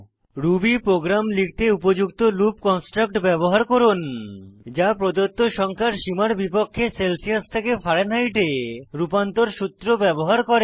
Ruby program লিখতে উপযুক্ত loop construct ব্যবহার করুন যা প্রদত্ত সংখ্যার সীমার বিপক্ষে সেলসিয়াস থেকে ফারেনহাইটে রূপান্তর সূত্র ব্যবহার করে